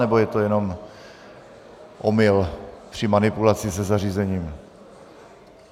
Nebo je to jenom omyl při manipulaci se zařízením?